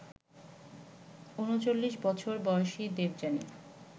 ৩৯ বছর বয়সী দেবযানী